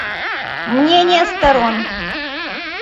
мнения сторон